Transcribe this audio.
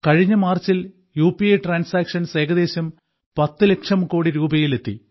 കഴിഞ്ഞ മാർച്ചിൽ U P I transactions ഏകദേശം 10 ലക്ഷം കോടി രൂപയിൽ എത്തി